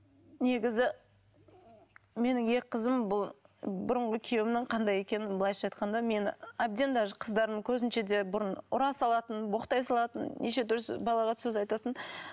негізі менің екі қызым бұл бұрынғы күйеуімнің қандай екенін былайша айтқанда мені әбден даже қыздарымның көзінше де бұрын ұра салатын боқтай салатын неше түрлі балағат сөз айтатын